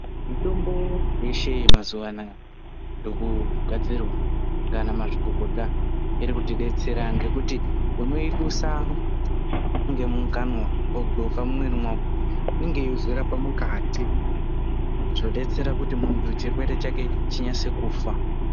Mitombo yeshe mazuva anaya ikugadzirwa nana mazvikokota iri kutidetsera ngekuti unoidusa ngemumukanwa wogoka mumuviri mako inge yeizorapa mukati zvodetsera muntu kuti chirwere chake zvinonatse kufa.